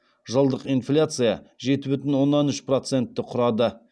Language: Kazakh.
жылдық инфляция жеті бүтін оннан үш процентті құрады